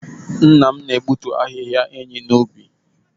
Nna m na-egbutu ahịhịa enyí n’ubi.